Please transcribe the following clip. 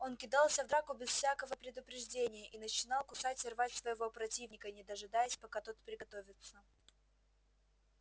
он кидался в драку без всякого предупреждения и начинал кусать и рвать своего противника не дожидаясь пока тот приготовится